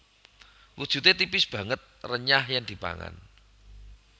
Wujude tipis banget renyah yen dipangan